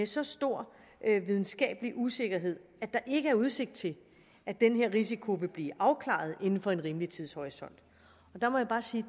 så stor videnskabelig usikkerhed at der ikke er udsigt til at den her risiko vil blive afklaret inden for en rimelig tidshorisont der må jeg bare sige